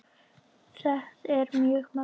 Það er mjög magnað.